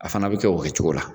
A fana be kɛ o kɛ cogo la